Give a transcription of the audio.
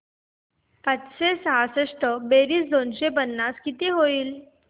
पाचशे सहासष्ट बेरीज दोनशे पन्नास किती होईल